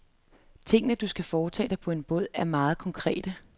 Tingene, du skal foretage dig på en båd, er meget konkrete.